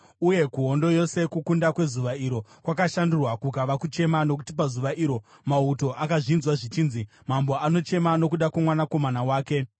Uye kuhondo yose, kukunda kwezuva iro kwakashandurwa kukava kuchema, nokuti pazuva iro, mauto akazvinzwa zvichinzi, “Mambo anochema nokuda kwomwanakomana wake.”